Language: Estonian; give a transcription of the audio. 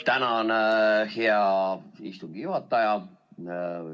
Tänan, hea istungi juhataja!